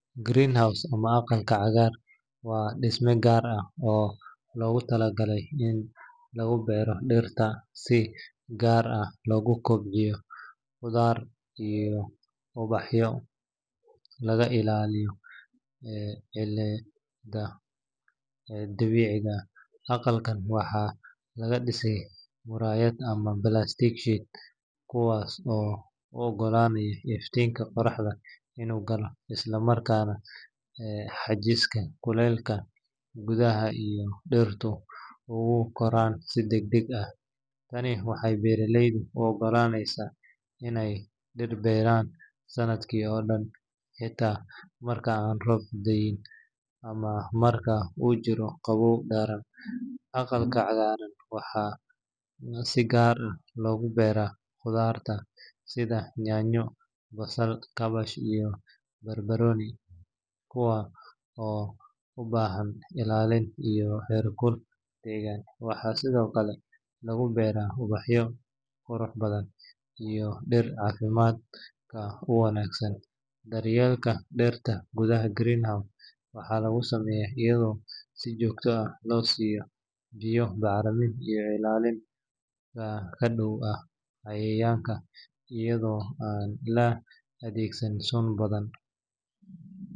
Green house ama aqalka cagaaran waa dhisme gaar ah oo loogu talagalay in lagu beero dhirta, si gaar ah loogu kobciyo khudaar iyo ubax iyadoo laga ilaaliyo cimilada dibadda. Aqalkaan waxaa laga dhisaa muraayado ama plastic sheets kuwaas oo u oggolaanaya iftiinka qoraxda inuu galo, isla markaana xajista kulaylka gudaha si dhirtu ugu koraan si degdeg ah. Tani waxay beeraleyda u oggolaaneysaa in ay dhir beeraan sanadka oo dhan, xitaa marka aan roob da’in ama marka uu jiro qabow daran. Aqalka cagaaran waxaa si gaar ah loogu beeraa khudaarta sida yaanyo, basasha, kaabash, iyo baarakooni, kuwaas oo u baahan ilaalin iyo heerkul deggan. Waxaa sidoo kale lagu beeraa ubaxyo qurux badan iyo dhirta caafimaadka u wanaagsan. Daryeelka dhirta gudaha green house waxaa lagu sameeyaa iyadoo si joogto ah loo siiyo biyo, bacrimin, iyo ilaalin ka dhan ah cayayaanka iyadoo aan la adeegsan sun badan.